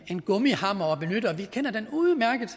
en gummihammer at benytte og vi kender den udmærket